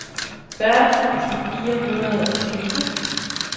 fyrre tusind fire hundrede og tyve